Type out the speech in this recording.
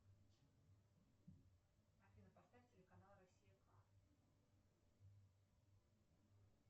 афина поставь телеканал россия два